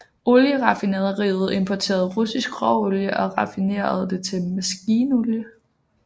Olieraffinaderiet importerede russisk råolie og raffinerede det til maskinolie